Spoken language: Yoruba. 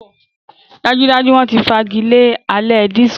Dájúdájú! Wọ́n ti fagilé alẹ́ disiko.